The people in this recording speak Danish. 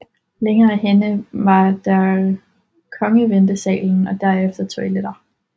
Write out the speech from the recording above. Længere henne var der kongeventesalen og derefter toiletter